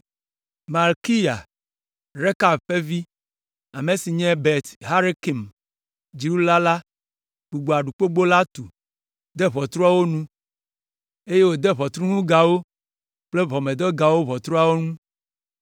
Malkiya, Rekab ƒe vi, ame si nye Bet Hakerem dziɖula la gbugbɔ Aɖukpogbo la tu, de ʋɔtruwo enu, eye wòde ʋɔtruŋugawo kple ʋɔmedegawo ʋɔtruawo ŋu.